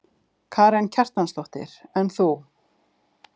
Karen Kjartansdóttir: En þú?